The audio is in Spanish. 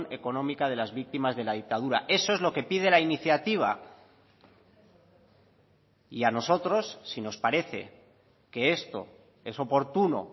económica de las víctimas de la dictadura eso es lo que pide la iniciativa y a nosotros si nos parece que esto es oportuno